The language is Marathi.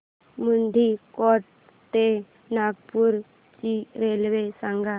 मुंडीकोटा ते नागपूर ची रेल्वे सांगा